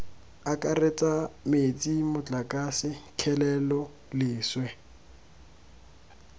akaretsa metsi motlakase kgelelo leswe